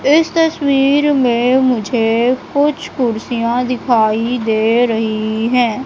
इस तस्वीर में मुझे कुछ कुर्सीयाँ दिखाई दे रही हैं।